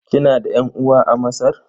Kina da ƴan'uwa a Masar?